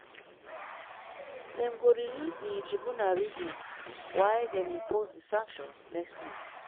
dem go release di tribunal reasons why dem impose di sanction next week.